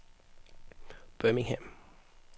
Birmingham